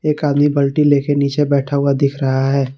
एक आदमी बल्टी लेके नीचे बैठा हुआ दिख रहा है।